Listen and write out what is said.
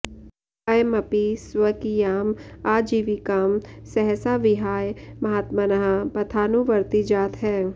अयमपि स्वकीयाम् आजीविकाम् सहसा विहाय महात्मनः पथानुवर्ती जातः